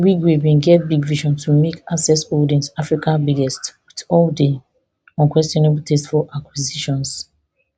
wigwe bin get big vision to make access holdings africa biggest wit all di unquenchable thirst for acquisitions